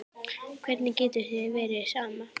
Hvernig getur þér verið sama?